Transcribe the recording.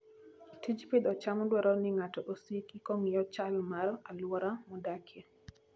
Tij pidho cham dwaro ni ng'ato osiki kong'iyo chal mar alwora modakie.